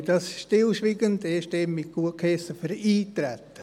Wir haben das Eintreten stillschweigend einstimmig gutgeheissen.